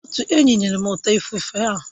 Otu enyi nyere m ọta ifufe ahụ